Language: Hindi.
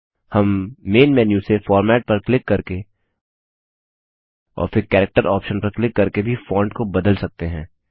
हम मेन मेन्यू से फॉर्मेट पर क्लिक करके और फिर कैरेक्टर ऑप्शन पर क्लिक करके भी फॉन्ट को बदल सकते हैं